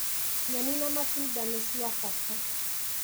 Nyeni na matunda nĩ cia bata.